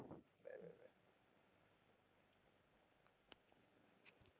bye, bye, bye